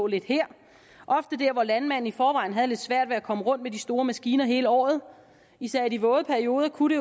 lidt her og ofte der hvor landmanden i forvejen havde lidt svært ved at komme rundt med de store maskiner hele året især i de våde perioder kunne